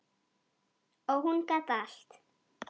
Og hún gat allt.